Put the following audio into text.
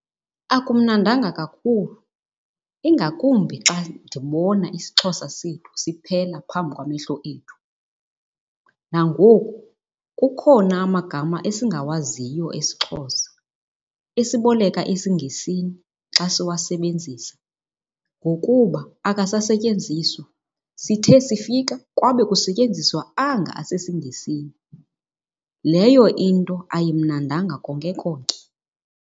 Akumnandanga kakhulu ingakumbi xa ndibona isiXhosa sethu siphela phambi kwamehlo ethu. Nangoku kukhona amagama esingawaziyo esiXhosa esiboleka esiNgesini xa siwasebenzisa ngokuba akasasetyenziswa. Sithe sifika kwabe kusetyenziswa anga asesiNgesini. Leyo into ayimnandanga konke konke.